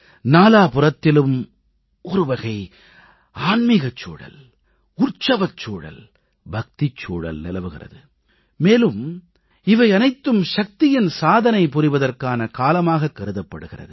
நாலாபுறத்திலும் ஒருவகை ஆன்மிகச் சூழல் உற்சவச் சூழல் பக்திச் சூழல் நிலவுகிறது மேலும் இவை அனைத்தும் சக்தியின் சாதனை புரிவதற்கான காலமாக கருதப்படுகிறது